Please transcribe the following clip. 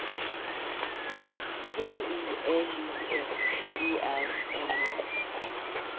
P O L I S E R N A